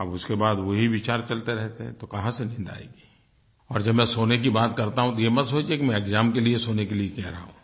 अब उसके बाद वही विचार चलते रहते हैं तो कहाँ से नींद आएगी और जब मैं सोने की बात करता हूँ तो ये मत सोचिए कि मैं एक्साम के लिए सोने के लिए कहा रहा हूँ